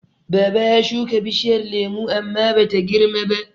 Baba ya shuka bishiyar lemo amma Bata girmaba.